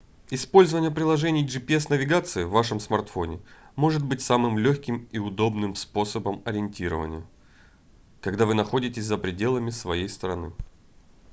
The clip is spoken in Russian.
использование приложений gps-навигации в вашем смартфоне может быть самым лёгким и удобным способом ориентирования когда вы находитесь за пределами своей страны